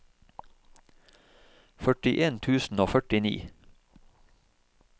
førtien tusen og førtini